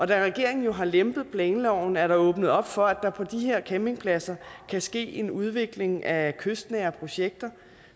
da regeringen jo har lempet planloven er der åbnet op for at der på de her campingpladser kan ske en udvikling af kystnære projekter